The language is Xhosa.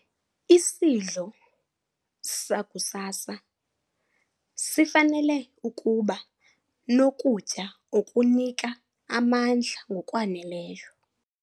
Isidlo sakusasa sifanele ukuba nokutya okunika amandla ngokwaneleyo.